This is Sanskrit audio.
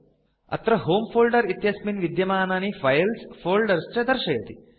अत्र होमे फोल्डर इत्यस्मिन् विद्यमानानि फाइल्स् फोल्डर्स् च दर्शयति